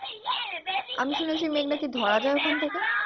আমি শুনেছি মেঘ নাকি ধরা যাই ওইখান থেকে